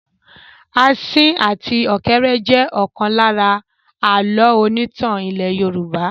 Asín àti ọ̀kéré jẹ ọ̀kan lára àlọ́ onítàn ilẹ́ Yorùbá.